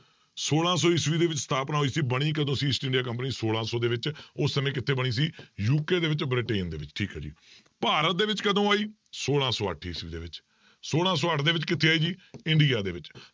ਛੋਲਾਂ ਸੌ ਈਸਵੀ ਦੇ ਵਿੱਚ ਸਥਾਪਨਾ ਹੋਈ ਬਣੀ ਕਦੋਂ ਸੀ ਈਸਟ ਇੰਡੀਆ company ਛੋਲਾਂ ਸੌ ਦੇ ਵਿੱਚ, ਉਸ ਸਮੇਂ ਕਿੱਥੇ ਬਣੀ ਸੀ UK ਦੇ ਵਿੱਚ ਬ੍ਰਿਟੇਨ ਦੇ ਵਿੱਚ ਠੀਕ ਹੈ ਜੀ, ਭਾਰਤ ਦੇ ਵਿੱਚ ਕਦੋਂ ਆਈ ਛੋਲਾਂ ਸੌ ਅੱਠ ਈਸਵੀ ਦੇ ਵਿੱਚ ਛੋਲਾਂ ਸੌ ਅੱਠ ਦੇ ਵਿੱਚ ਕਿੱਥੇ ਆਈ ਜੀ ਇੰਡੀਆ ਦੇ ਵਿੱਚ।